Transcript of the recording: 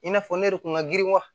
I n'a fɔ ne yɛrɛ kun ka girin wa